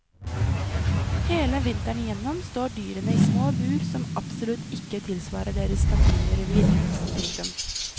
Hele vinteren igjennom står dyrene i små bur som absolutt ikke tilsvarer deres naturlige revir. punktum